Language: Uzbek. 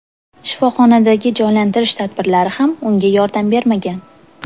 Shifoxonadagi jonlantirish tadbirlari ham unga yordam bermagan.